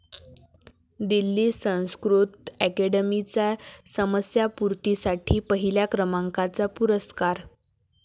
दिल्ली संस्कृत अकॅडमीचा समस्यापूर्तीसाठी पहिल्या क्रमांकाचा पुरस्कार